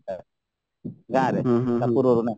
ଗାଁରେ